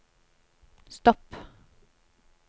stopp